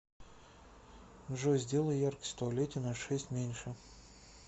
джой сделай яркость в туалете на шесть меньше